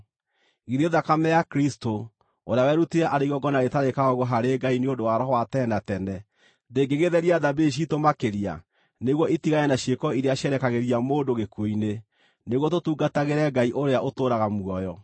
Githĩ thakame ya Kristũ, ũrĩa werutire arĩ igongona rĩtarĩ kaũũgũ harĩ Ngai nĩ ũndũ wa Roho wa tene na tene, ndĩngĩgĩtheria thamiri ciitũ makĩria nĩguo itigane na ciĩko iria cierekagĩria mũndũ gĩkuũ-inĩ, nĩguo tũtungatagĩre Ngai ũrĩa ũtũũraga muoyo!